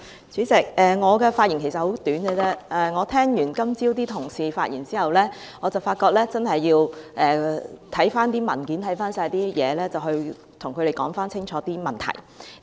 主席，我的發言很簡短，我今早聽罷同事的發言，發覺真的要看回文件，然後跟他們弄清楚問題。